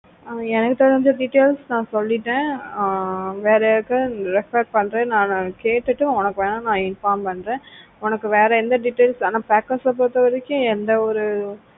ஆஹ் எனக்கு தெரிஞ்ச details நான் சொல்லிட்டேன் ஆஹ் வேற யாருக்காவது refer பண்ற நான் கேட்டுட்டு உனக்கு வேணா நான் inform பண்றேன் உனக்கு வேற எந்த details ஆனா packers பொருத்தவரைக்கும் எந்த ஒரு